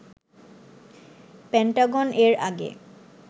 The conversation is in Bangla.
পেন্টাগন এর আগে